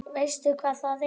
Veistu hvað það er?